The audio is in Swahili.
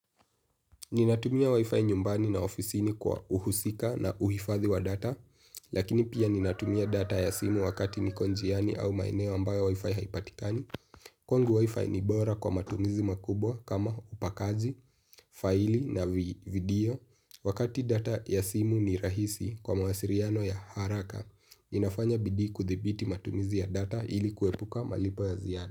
Ninatumia wifi nyumbani na ofisini kwa uhusika na uhifathi wa data, lakini pia ninatumia data ya simu wakati nikonjiani au maeneo ambayo wifi haipatikani. Kwangu WIFI ni bora kwa matumizi makubwa kama upakazi faili na vidio. Wakati data ya simu ni rahisi kwa mawasiliano ya haraka, inafanya bidii kudhibiti matumizi ya data ili kuepuka malipo ya ziada.